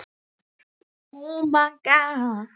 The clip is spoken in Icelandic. Bíð spennt eftir næsta þætti.